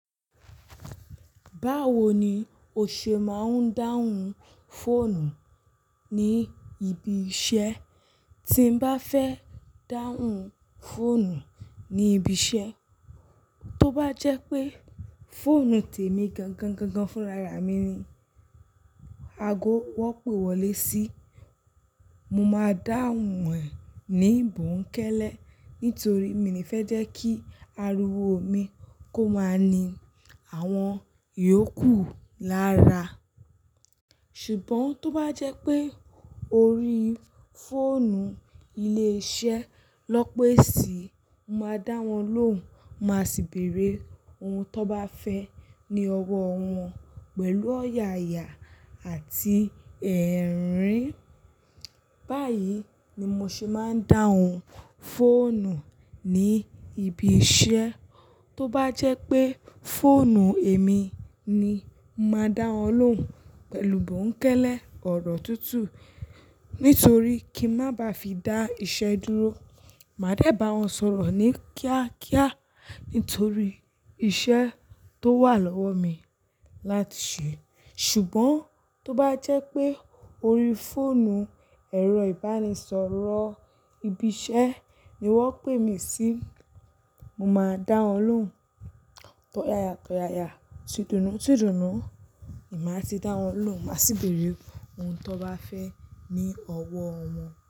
Báwo ni o ṣe máa ń dáhùn fóònù ní ibi iṣẹ́? Tí m bá fẹ́ dáhùn fóònù ní ibi iṣẹ́, tó bá jẹ́ pé fóònù temi gangan gan-gan fúnra ra mi ni ago wọ́n pé wọlé sí, mo máa dáhùn ẹ̀ ní bùkẹ́lẹ́. Nítorí mi ní fẹ́ jẹ́ kí ariwo mi kó máa ní àwọn iyòókù lára. Ṣùgbọ́n tó bá jẹ́ pé orí fóònù ilé iṣẹ́ lọn pé sí i, mo máa dá wọn lóhùn, má sì bèèrè ohun tón bá fẹ́ ni ọwọ́ wọn pẹ̀lú ọ̀yàyà àti ẹ̀rín. Báyìí ni mo ṣe máa ń dáhùn fóònù ní ibi iṣẹ́. Tó bá jẹ́ pé fóònù èmi ni, mo máa dá wọn lóhùn pẹ̀lú bùnkẹ́lẹ́ ọ̀rọ̀ tútù. Nítorí kí má ba fi dá iṣẹ́ dúró, màá dẹ̀ bá wọn sọ̀rọ̀ ní kíákíá nítorí iṣẹ́ tó wà lọ́wọ́ mi láti ṣe. Ṣùgbọ́n tó bá jẹ́ pé orí fóònù ẹ̀rọ ìbánisọ̀rọ̀ ibi iṣẹ́ ni wọ́n pè mí sí, mo máa dá wọn lóhùn tọ̀yàyà tọ̀yàyà, tì dùnùn tì dùnùn, ni má ti dá wọn lóhùn, má sì bèèrè ohun tó bá fẹ́ ni ọwọ́ wọn.